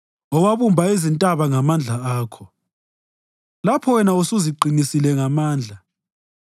owabumba izintaba ngamandla akho, lapho wena usuziqinisile ngamandla,